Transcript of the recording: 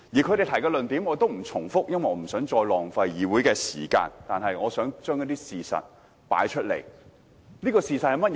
他們提出的論點我也不重複，因為我不想再浪費議會的時間，但我想提出一些事實。